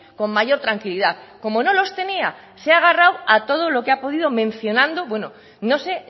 con mayor tranquilidad como no los tenía se ha agarrado a todo lo que ha podido mencionando bueno no sé